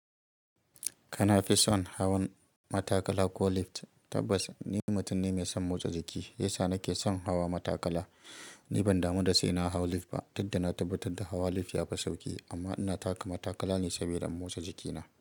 Kana fi son hawan matakala ko lift? Tabbas ni mutum ne mai son motsa jiki, shi ya sa nake son hawa matakala. Ni ban damu da sai na hau lift ba, duk da na tabbatar da hawa lif ya fi sauki. Amma ina taka matakala ne saboda in motsa jikina.